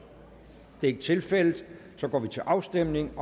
det er ikke tilfældet så går vi til afstemning